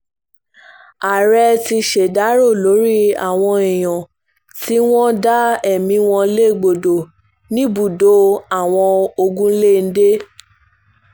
ààrẹ ti ṣèdàrọ́ lórí àwọn èèyàn tí wọ́n dá ẹ̀mí wọn légbodò níbùdó àwọn ogun-lé-ń-dè